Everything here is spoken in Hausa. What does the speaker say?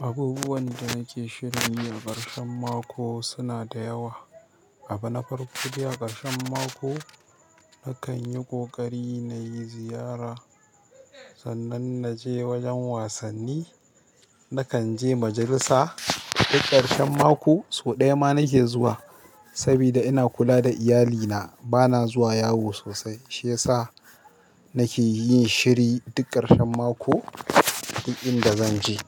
abubuwan da nake shirin yi a ƙarshen mako suna da yawa aba na farko, dai a ƙarshen mako nakan yi ƙoƙari na yi ziyara. Sannan na je wajen wasanni. Nakan je majalisa, duk ƙarshen mako sau ɗaya ma nake jira sabida ina kula da iyalina, bana zuwa yawo sosai. Shi ya sa nake yin shiri duk ƙarshen mako duk inda zan je.